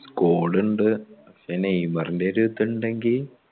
scod ഉണ്ട് പക്ഷെ നെയ്‌മറിന്റെ ഒരു ഇത് ഉണ്ടെങ്കിൽ